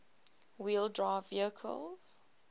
wheel drive vehicles